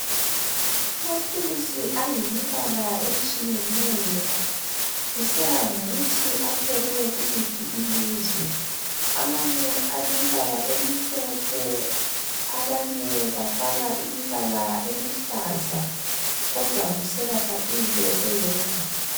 Amaphilisi ayimibala etshiyeneyo kusiya ngokuthi aphekwe kuliphi ilizwe amanye alemibala emihlophe abanye bafaka imibala eluhlaza kodwa kuselapha into eyodwa.